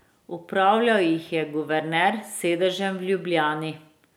Upravljal jih je guverner s sedežem v Ljubljani.